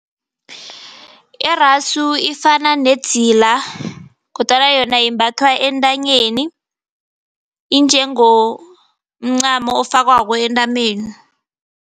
Irasu ifana nedzila kodwana yona imbathwa entanyeni, injengomncamo ofakwako entameni.